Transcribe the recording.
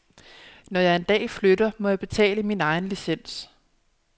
Når jeg en dag flytter, må jeg betale min egen licens.